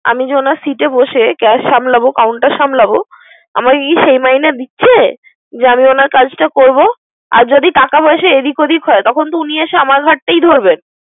আমি যে সিটে বসে। ক্যাশ সামলামে কাউন্টার সামলাবো। আমাকে কি সে মাইনে দিচ্ছে। যে আমি উনার কাজটা করব। আর যদি টাকা পয়সা এদিক ওদিক তখন তো উনি আমর ধারটাই ধরবে।